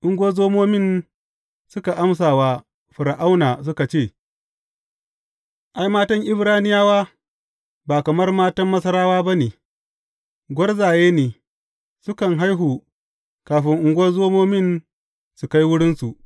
Ungozoman suka amsa wa Fir’auna suka ce, Ai, matan Ibraniyawa ba kamar matan Masarawa ba ne, gwarzaye ne, sukan haihu kafin ungozomomin su kai wurinsu.